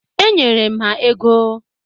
Enyere m ha ego.